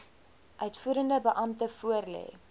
uitvoerende beampte voorlê